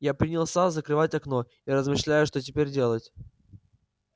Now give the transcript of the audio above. я принялся закрывать окно и размышляя что теперь делать